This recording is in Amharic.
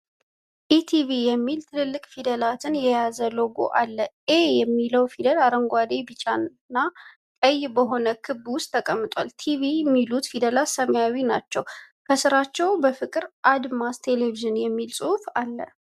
"ኤቲቪ" የሚሉ ትልልቅ ፊደላትን የያዘ ሎጎው አለ። "ኤ" የሚለው ፊደል አረንጓዴ፣ ቢጫና ቀይ በሆነ ክብ ውስጥ ተቀምጧል። "ቲቪ" የሚሉት ፊደላት ሰማያዊ ናቸው፤ ከስራቸው በፍቅር "አድማስ ቴሌቪዥን" የሚል ጽሑፍ አለ።